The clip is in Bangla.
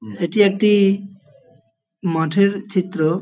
এটি একটি-ই মাঠের চিত্র।